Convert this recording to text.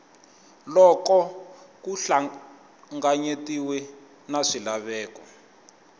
loko ku hlanganyetaniwe na swilaveko